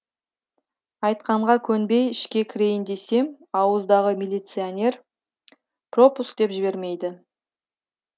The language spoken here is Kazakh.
айтқанға көнбей ішке кірейін десем ауыздағы милиционер пропуск деп жібермейді